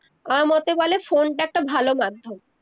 আমার মতে বলে phone টা একটা ভালো মাধ্যম